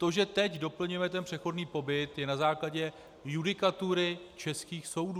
To, že teď doplňujeme ten přechodný pobyt, je na základě judikatury českých soudů.